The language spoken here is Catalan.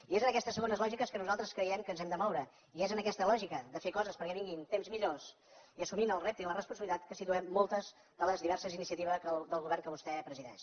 i és en aquestes segones lògiques que nosaltres creiem que ens hem de moure i és en aquesta lògica de fer coses perquè vinguin temps millors i assumint el repte i la responsabilitat que situem moltes de les diverses iniciatives del govern que vostè presideix